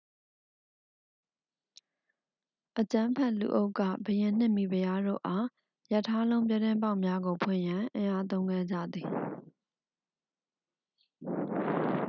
အကြမ်းဖက်လူအုပ်က ဘုရင်နှင့် မိဖုရားတို့အား ရထားလုံးပြတင်းပေါက်များကို ဖွင့်ရန် အင်အားသုံးခဲ့ကြသည်